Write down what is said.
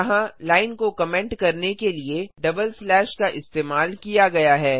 यहाँ लाइन को कमेंट करने के लिए डबल स्लैश का इस्तेमाल किया गया है